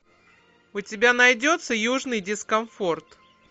у тебя найдется южный дискомфорт